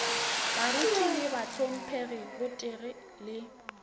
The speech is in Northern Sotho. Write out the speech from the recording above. baruti le bahlomphegi gotee le